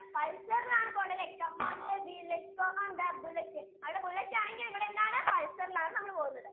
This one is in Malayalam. അതെങ്ങനെയാ പോകേണ്ടത് pulsar ഇൽ ആണല്ലേ പോകേണ്ടത്. come on baby lets go on the bullet അവിടെ bullet ആണെങ്കിൽ ഇവിടെ എന്താണ് pulsar ഇൽ ആണ് നമ്മൾ പോകുന്നത്.